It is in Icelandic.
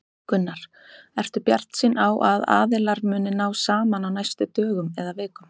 Gunnar: Ertu bjartsýnn á að aðilar muni ná saman á næstu dögum eða vikum?